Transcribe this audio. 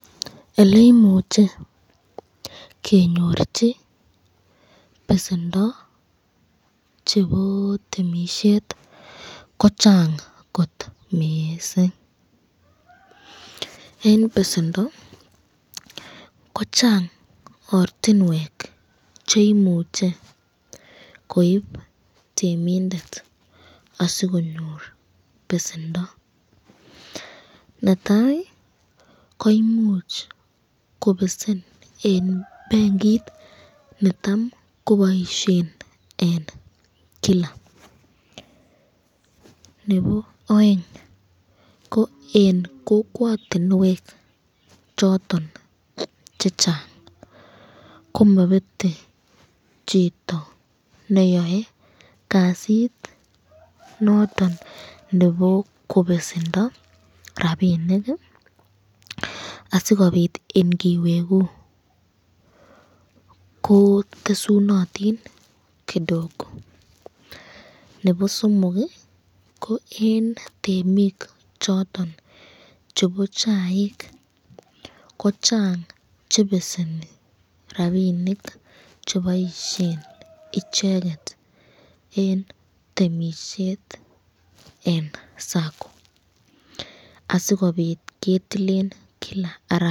Oleimuche kenyorchi besendo chebo temisiet ko chang kot miising en besendo ko chang ortinwek cheimuche koip temindet asikonyor besendo netai koimuchi kobesen en benkit necham koboishe en kila nebo oeng ko en kokwotunwek choton chechang komabete chito neyoe kasit noton nebo kobesendo ropinik asikobit ingiweku kotesunotin kidogo nebo somok ko eng tamik chotok chebo chaik ko chang chebeseni rapinik cheboishen icheket eng temisiet eng sacco asikobit ketilen kila arawa.